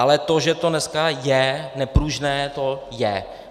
Ale to, že to dneska je nepružné, to je.